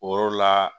O yɔrɔ la